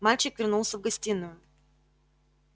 мальчик вернулся в гостиную